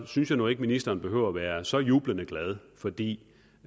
synes jeg nu ikke ministeren behøver at være så jublende glad for det